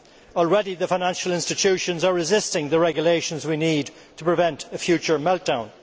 Already the financial institutions are resisting the regulations we need to prevent a future meltdown.